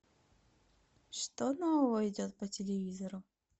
что нового идет по телевизору